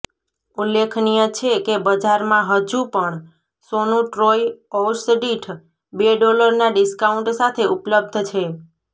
ઉલ્લેખનિય છે કે બજારમાં હજું પણ સોનું ટ્રોય ઔંસદીઠ બે ડોલરના ડિસ્કાઉન્ટ સાથે ઉપલબ્ધ છે